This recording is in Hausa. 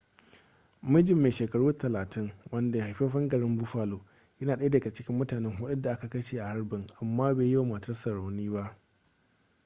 mijin mai shekaru 30 wanda haifaffen garin buffalo yana daya daga cikin mutane hudun da aka kashe a harbin amma bai yi wa matarsa rauni ba